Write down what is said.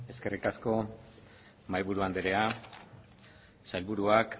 eskerrik asko mahaiburu anderea sailburuak